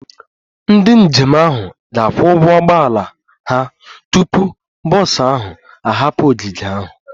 Ndị njem ahụ ga-akwụ ụgwọ ụgbọ ala ha tupu bọs ahụ ahapụ ogige ahụ